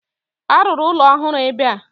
A ruru ụlọ ọhụrụ ebe a